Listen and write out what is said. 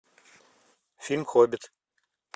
фильм хоббит